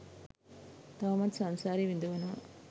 තවමත් සංසාරේ විඳවනවා